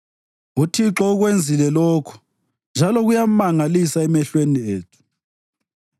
uThixo ukwenzile lokhu; njalo kuyamangalisa emehlweni ethu.